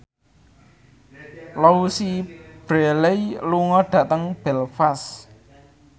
Louise Brealey lunga dhateng Belfast